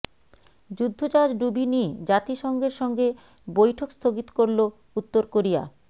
যুদ্ধজাহাজ ডুবি নিয়ে জাতিসংঘের সঙ্গে বৈঠক স্থগিত করলো উত্তর কোরিয়া